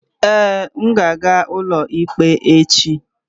Ee, m ka ga-aga n'ụlọ ikpe echi.